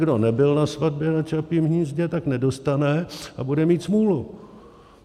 Kdo nebyl na svatbě na Čapím hnízdě, tak nedostane a bude mít smůlu.